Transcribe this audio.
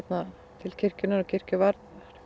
til kirkjunnar og kirkjuvarðar